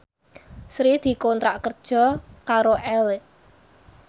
Sri dikontrak kerja karo Elle